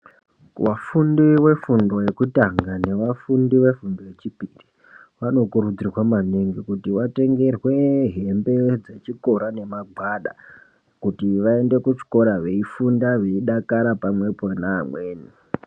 Vafundi vefundi yekutanga nevafundi vefundo yechipiri, vanokurudzirwa maningi kuti vatengerwe hembe dzechikora nemagwada. Kuti vaende kuchikora veifunda veidakara pamwepo neamweni.